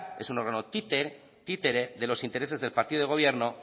es un órgano títere de los intereses del partido del gobierno